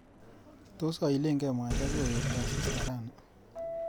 Tos aileke mwaita sikokerta asista rani?